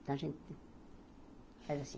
Então a gente faz assim.